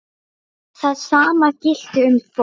Það sama gilti um fólk.